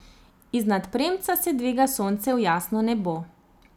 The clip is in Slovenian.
Iznad premca se dviga sonce v jasno nebo.